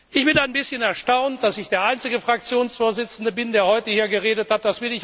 Ich bin ein bisschen erstaunt, dass ich der einzige Fraktionsvorsitzende bin, der heute hier geredet hat.